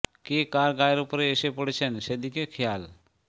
কে কার গায়ের উপরে এসে পড়ছেন সে দিকে খেয়াল